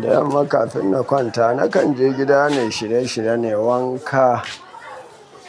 Da yamma kafin na kwanta, nakan je gida na yi shirye-shirye na yi wanka.